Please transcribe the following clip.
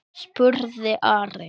spurði Ari.